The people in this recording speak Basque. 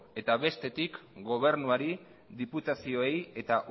eta bestetik gobernuari diputazioei eta